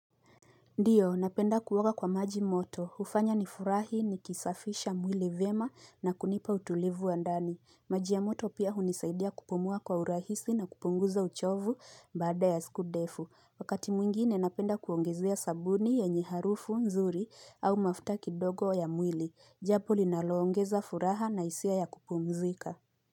Ndiyo, napenda kuoga kwa maji moto. Hufanya nifurahi nikisafisha mwili vyema na kunipa utulivu ya ndani. Maji ya moto pia hunisaidia kupumua kwa urahisi na kupunguza uchovu baada ya siku ndefu. Wakati mwingine napenda kuongezea sabuni yenye harufu nzuri au mafuta kidogo ya mwili. Jambo linaloongeza furaha na hisia ya kupumzika.